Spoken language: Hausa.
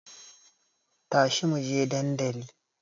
Tashi muje dandali